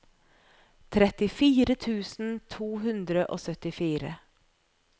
trettifire tusen to hundre og syttifire